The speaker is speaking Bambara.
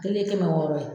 Kelen ye kɛmɛ wɔɔrɔ ye